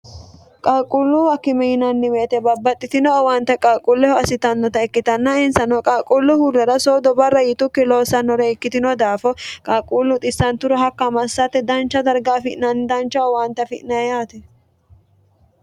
qalquulluuwa kimi yinannimeete babbaxxitino owaante qalquulleho assitannota ikkitanna insano qaalquullu huurrera soodo barra yitukki loossannore ikkitino daafo qalquullu xissanturo hakka amassatte dancha darga afi'nanni dancha owaante afi'naeyaati